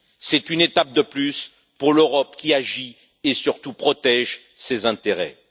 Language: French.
C'est une étape de plus pour l'Europe qui agit et, surtout, qui protège ses intérêts.